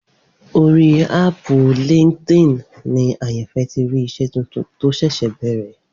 Orí áàpù LinkedIn ni Àyànfẹ́ ti rí iṣẹ́ tuntun tó ṣẹ̀ṣẹ̀ bẹ̀rẹ̀